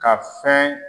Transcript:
Ka fɛn